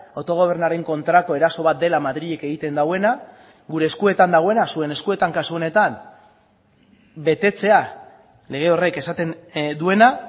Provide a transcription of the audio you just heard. autogobernuaren kontrako eraso bat dela madrilek egiten duena gure eskuetan dagoena zuen eskuetan kasu honetan betetzea lege horrek esaten duena